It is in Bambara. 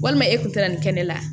Walima e kun tɛ na nin kɛnɛ la